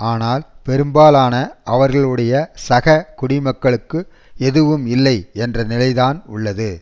ஆனால் பெரும்பாலான அவர்களுடைய சக குடிமக்களுக்கு எதுவும் இல்லை என்ற நிலைதான் உள்ளது